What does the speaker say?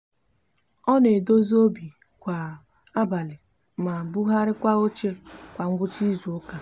o n'edozi obi kwa abali ma buharikwa oche kwa ngwucha izuuka